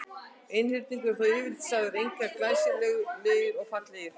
Einhyrningar eru þó yfirleitt sagðir einkar glæsilegir og fallegir.